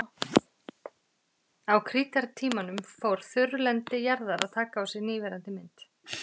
Á krítartímanum fór þurrlendi jarðar að taka á sig núverandi mynd.